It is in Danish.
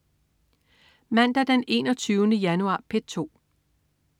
Mandag den 21. januar - P2: